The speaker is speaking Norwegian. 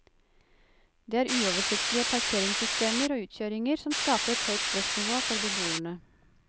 Det er uoversiktlige parkeringssystemer og utkjøringer som skaper et høyt stressnivå for beboerne.